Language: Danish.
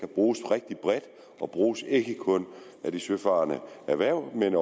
bruges rigtig bredt og bruges ikke kun af de søfarende erhverv men